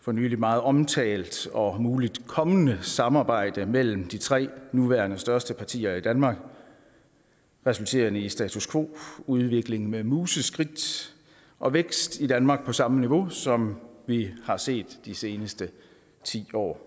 for nylig meget omtalt og muligt kommende samarbejde mellem de tre nuværende største partier i danmark resulterende i status quo udvikling med museskridt og vækst i danmark på samme niveau som vi har set de seneste ti år